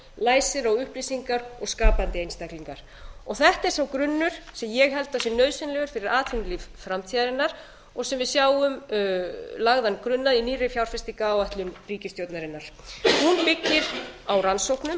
læsir á upplýsingar og skapandi einstaklingar þetta er sá grunnur sem ég held að sé nauðsynlegur fyrir atvinnulíf framtíðarinnar og sem við sjáum lagðan grunn að í nýrri fjárfestingaráætlun ríkisstjórnarinnar hún byggir á rannsóknum